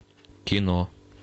кино